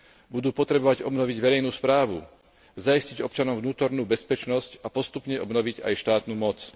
Budú potrebovať obnoviť verejnú správu, zaistiť občanom vnútornú bezpečnosť a postupne obnoviť aj štátnu moc.